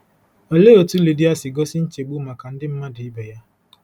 Olee otú Lidia si gosi nchegbu maka ndị mmadụ ibe ya?